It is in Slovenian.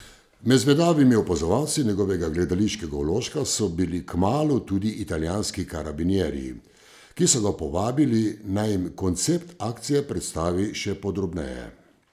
Med zvedavimi opazovalci njegovega gledališkega vložka so bili kmalu tudi italijanski karabinierji, ki so ga povabili, naj jim koncept akcije predstavi še podrobneje.